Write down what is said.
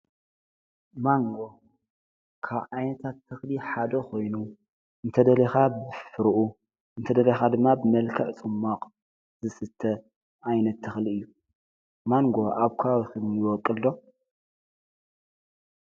ማንጎ ካብ ዓይነታት ትኽሊ ሓዶ ኾይኑ እንተ ደሊኻ ብፍርኡ እንተ ደለኻ ድማ ብመልከዕ ጽማቕ ዝስተ ዓይነት ተኽሊ እዩ ። ማንጎ ኣብ ከባቢኩም ይወቕል ዶ?"